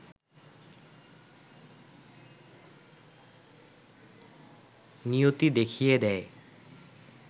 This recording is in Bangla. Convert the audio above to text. নিয়তি দেখিয়ে দেয়